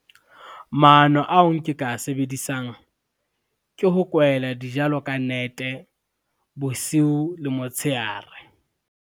Maano ao nke ka sebedisang, ke ho kwahela dijalo ka nete bosiu le motshehare.